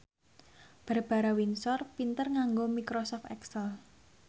Barbara Windsor pinter nganggo microsoft excel